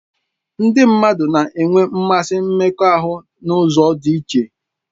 Ndị mmadụ na-enwe mmasị mmekọahụ n'ụzọ dị iche